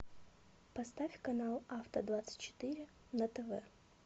поставь канал авто двадцать четыре на тв